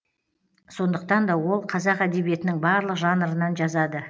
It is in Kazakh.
сондықтан да ол қазақ әдебиетінің барлық жанрынан жазады